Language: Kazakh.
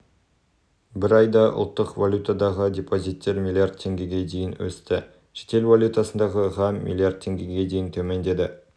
бір айда ұлттық валютадағы депозиттер млрд теңгеге дейін өсті шетел валютасындағы ға млрд теңгеге дейін төмендеді